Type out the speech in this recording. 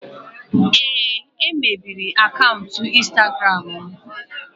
Ee, e mebiri akaụntụ Instagram m.